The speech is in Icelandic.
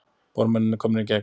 Bormennirnir komnir í gegn